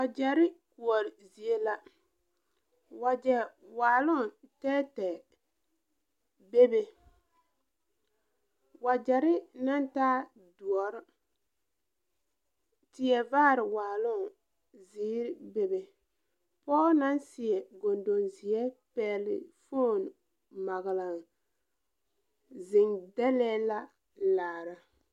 Wagyɛrre koɔre zie la wagyɛ waaloŋ tɛɛtɛɛ bebe wagyɛrre naŋ taa doɔre tie vaare waaloŋ zeere bebe poge naŋ seɛ gondong zeɛ pɛgle fone paglaŋ zeŋ dɛlɛɛ la laara.